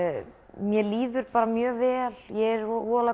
mér líður mjög vel er